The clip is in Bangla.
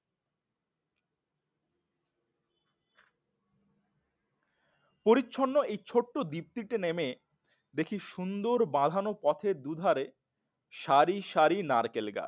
পরিচ্ছন্ন এই ছোট্ট দীপ্তিতে নেমে দেখি সুন্দর বাধানো পথের দুধারে সারি সারি নারকেল গাছ